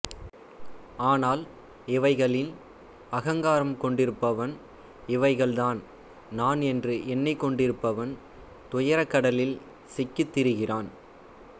ஆனால் இவைகளில் அகங்காரம் கொண்டிருப்பவன் இவைகள்தான் நான் என்று எண்ணிக் கொண்டிருப்பவன் துயரக்கடலில் சிக்கித் திரிகிறான்